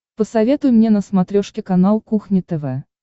посоветуй мне на смотрешке канал кухня тв